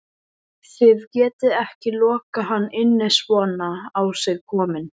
Þið getið ekki lokað hann inni svona á sig kominn